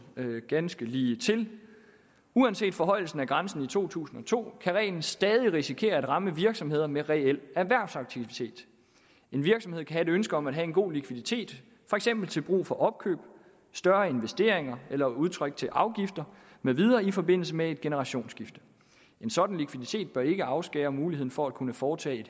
ganske ligetil uanset forhøjelsen af grænsen i to tusind og to kan reglen stadig risikere at ramme virksomheder med reel erhvervsaktivitet en virksomhed kan have et ønske om at have en god likviditet for eksempel til brug for opkøb større investeringer eller udtræk til afgifter med videre i forbindelse med et generationsskifte en sådan likviditet bør ikke afskære muligheden for at kunne foretage